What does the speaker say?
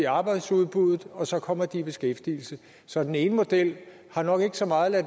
arbejdsudbuddet og så kommer de i beskæftigelse så den ene model har nok ikke så meget at